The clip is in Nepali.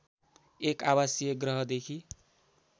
एक आवासीय ग्रहदेखि